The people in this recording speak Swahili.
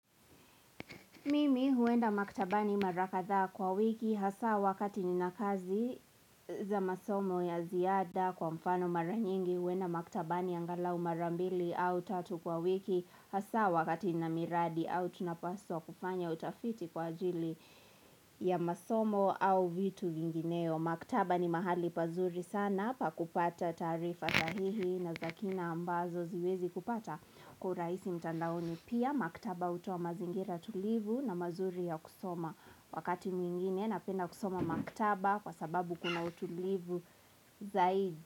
Mimi huenda maktaba ni marakadhaa kwa wiki hasa wakati ni nakazi za masomo ya ziada kwa mfano maranyingi huenda maktaba ni angalau marambili au tatu kwa wiki hasa wakati ni namiradi au tunapaswa kufanya utafiti kwa ajili ya masomo au vitu vingineo. Maktaba ni mahali pazuri sana pa kupata taarifa sahihi na zakina ambazo ziwezi kupata Kuraisi mtandaoni pia Maktaba utoa mazingira tulivu na mazuri ya kusoma Wakati mwingine na penda kusoma maktaba Kwa sababu kuna utulivu zaidi.